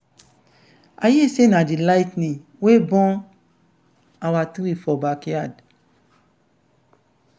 i hear say na the ligh ten ing wey burn our tree for backyard.